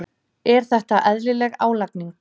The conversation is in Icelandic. Er þetta eðlileg álagning?